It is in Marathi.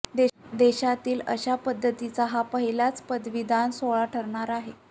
देशातील अशा पध्दतीचा हा पहिलाच पदवीदान सोहळा ठरणार आहे